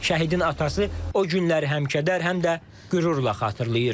Şəhidin atası o günləri həm kədər, həm də qürurla xatırlayır.